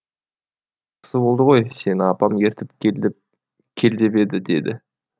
осы болды ғой сені апам ертіп кел деп еді деді